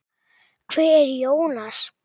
Hver er Jónas?